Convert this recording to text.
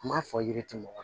Kuma fɔ yiri tɛ mɔgɔ